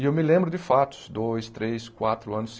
E eu me lembro de fatos, dois, três, quatro anos,